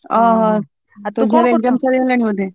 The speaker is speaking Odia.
ଓଃ! ତୋ ଝିଅର exam ସରିଲାଣି ବୋଧେ?